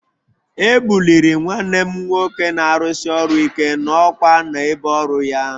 E buliri nwanne m nwoke na-arụsi ọrụ ike n'ọkwá n'ebe ọrụ ya